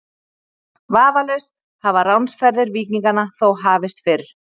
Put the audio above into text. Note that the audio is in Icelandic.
Vafalaust hafa ránsferðir víkinganna þó hafist fyrr.